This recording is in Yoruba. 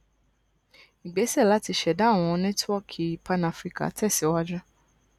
igbesẹ lati ṣẹda awọn network panafrican tẹsiwaju